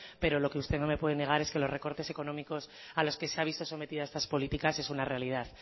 pero lo que usted no me puede negar es que los recortes económicos a los que se ha visto sometida estas políticas es una realidad